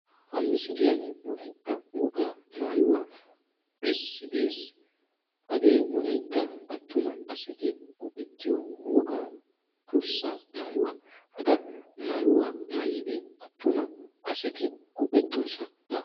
Ha misiliyan wolaytta wogaa maayuwa besidi de'ees. Hage wolaytta attuma asaay goettiyo wogaa durssa maayuwaa. Hagan maayuwaa maayidi attuma asaati goettosona.